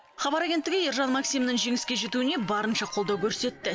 хабар агенттігі ержан максимнің жеңіске жетуіне барынша қолдау көрсетті